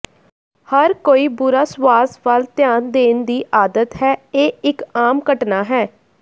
ਹਰ ਕੋਈ ਬੁਰਾ ਸਵਾਸ ਵੱਲ ਧਿਆਨ ਦੇਣ ਦੀ ਆਦਤ ਹੈ ਇਹ ਇਕ ਆਮ ਘਟਨਾ ਹੈ